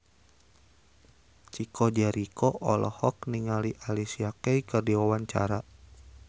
Chico Jericho olohok ningali Alicia Keys keur diwawancara